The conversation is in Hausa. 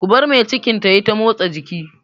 Ku bar mai cikin ta yi ta motsa jiki!